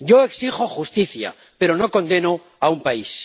Yo exijo justicia, pero no condeno a un país.